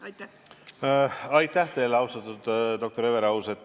Aitäh teile, austatud doktor Everaus!